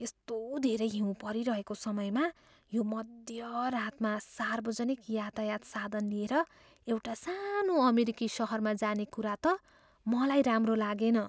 यस्तो धेरै हिउँ परिरहेको समयमा यो मध्यरातमा सार्वजनिक यातायात साधन लिएर एउटा सानो अमेरिकी सहरमा जाने कुरा त मलाई राम्रो लागेन।